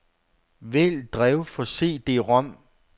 Vælg drev for cd-rom.